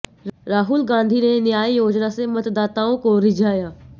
राहुल गांधी ने न्याय योजना से मतदाताओं को रिझाया